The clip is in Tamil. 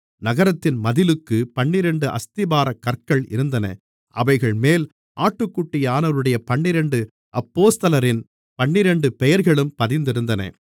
நகரத்தின் மதிலுக்குப் பன்னிரண்டு அஸ்திபாரக் கற்கள் இருந்தன அவைகள்மேல் ஆட்டுக்குட்டியானவருடைய பன்னிரண்டு அப்போஸ்தலரின் பன்னிரண்டு பெயர்களும் பதிந்திருந்தன